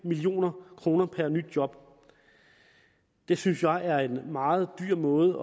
million kroner per nyt job det synes jeg er en meget dyr måde